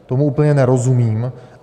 Tomu úplně nerozumím.